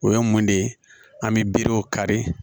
O ye mun de ye an bɛ berew kari